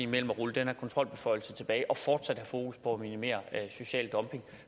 man ruller den her kontrolbeføjelse tilbage og fortsat har fokus på at minimere social dumping